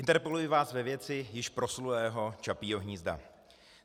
Interpeluji vás ve věci již proslulého Čapího hnízda.